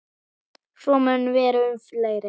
Svo mun vera um fleiri.